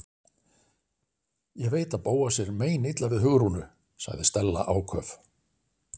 Ég veit að Bóasi er meinilla við Hugrúnu- sagði Stella áköf.